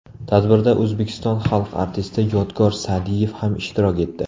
Tadbirda O‘zbekiston xalq artisti Yodgor Sa’diyev ham ishtirok etdi.